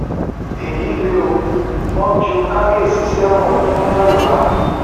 èyí lè o wọn ju kábíyèsí sẹwọn ọdún mẹwàá